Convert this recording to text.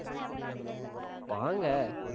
வாங்க